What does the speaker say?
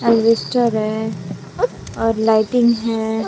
एल्विस्टर है और लाइटिंग है।